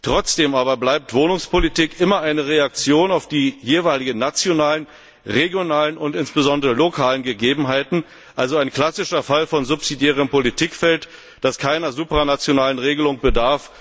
Trotzdem bleibt Wohnungspolitik immer eine Reaktion auf die jeweiligen nationalen, regionalen und insbesondere lokalen Gegebenheiten, also ein klassischer Fall eines subsidiären Politikfelds, das keiner supranationalen Regelung bedarf und sich auch einer solchen entzieht.